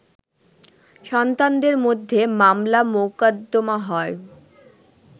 সন্তানদের মধ্যে মামলা-মোকদ্দমা হয়